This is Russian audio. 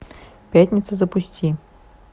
пятница запусти